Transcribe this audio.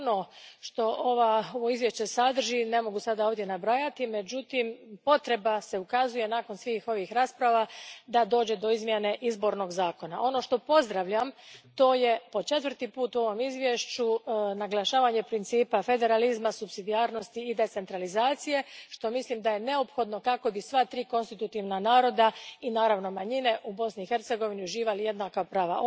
Ono što ovo izvješće sadrži ne mogu ovdje sada nabrajati, međutim, nakon svih ovih rasprava, ukazuje se potreba za izmjenom izbornog zakona. Ono što pozdravljam, to je po četvrti put u ovom izvješću naglašavanje principa federalizma, supsidijarnosti i decentralizacije, što mislim da je neophodno kako bi sva tri konstitutivna naroda i, naravno, manjine u Bosni i Hercegovini, uživali jednaka prava.